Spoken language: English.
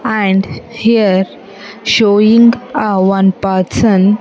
And here showing a one person --